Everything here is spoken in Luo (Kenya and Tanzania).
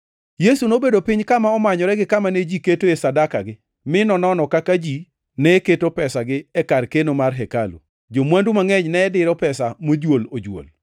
Yesu nobedo piny kama omanyore gi kama ne ji ketoe sadakagi mi nonono kaka ji ne keto pesagi e kar keno mar hekalu. Jo-mwandu mangʼeny ne diro pesa mojuol ojuol.